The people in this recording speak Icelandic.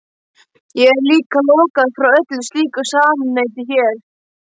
Ég er líka lokaður frá öllu slíku samneyti hér.